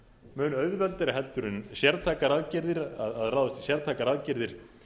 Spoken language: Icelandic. mun auðveldari heldur en sértækar aðgerðir að ráðast í sértækar aðgerðir